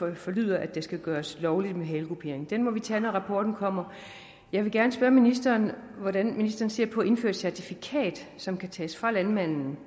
det forlyder at det skal gøres lovligt at foretage halekupering det må vi tage op når rapporten kommer jeg vil gerne spørge ministeren hvordan ministeren ser på indførelse certifikat som kan tages fra landmanden